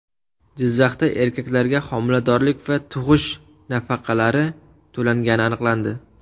Jizzaxda erkaklarga homiladorlik va tug‘ish nafaqalari to‘langani aniqlandi.